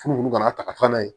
Furu kana ta ka taa n'a ye